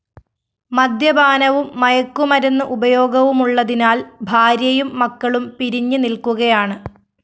മദ്യപാനവും മയക്കുമരുന്ന് ഉപയോഗവുമുള്ളതിനാല്‍ ഭാര്യയും മക്കളും പിരിഞ്ഞ് നില്‍ക്കുകയാണ്